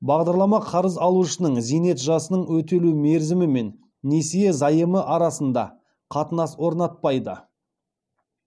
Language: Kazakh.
бағдарлама қарыз алушының зейнет жасының өтелу мерзімі мен несие заемы арасында қатынас орнатпайды